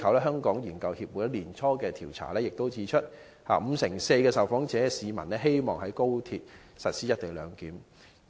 香港研究協會本年年初的調查亦指出，五成四受訪市民希望在高鐵實施"一地兩檢"。